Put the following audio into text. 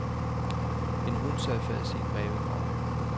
En hund sad fast i en rævegrav.